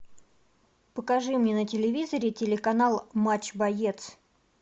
покажи мне на телевизоре телеканал матч боец